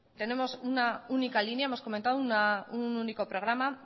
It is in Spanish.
tenemos una única línea hemos comentado un único programa